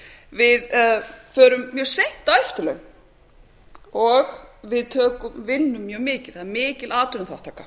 við förum mjög seint á eftirlaun og við vinnum mjög mikið það er mikil atvinnuþátttaka